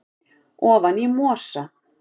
ofan í mosa